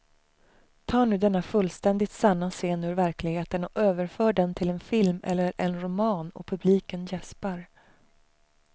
Ta nu denna fullständigt sanna scen ur verkligheten och överför den till en film eller en roman och publiken jäspar.